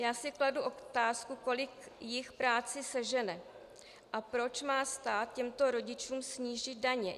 Já si kladu otázku, kolik jich práci sežene a proč má stát těmto rodičům snížit daně.